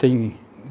Tenho.